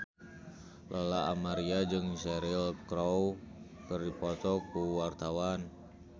Lola Amaria jeung Cheryl Crow keur dipoto ku wartawan